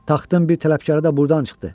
"Taxtın bir tələbkarı da burdan çıxdı.